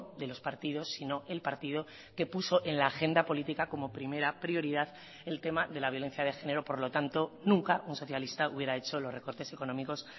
de los partidos sino el partido que puso en la agenda política como primera prioridad el tema de la violencia de género por lo tanto nunca un socialista hubiera hecho los recortes económicos